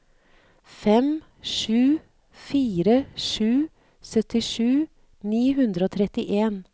fem sju fire sju syttisju ni hundre og trettien